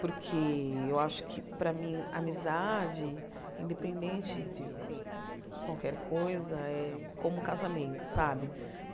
Porque eu acho que, para mim, amizade, independente de qualquer coisa, é como casamento, sabe?